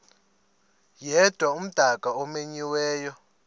yedwa umdaka omenyiweyo